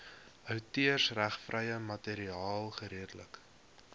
outeursregvrye materiaal geredelik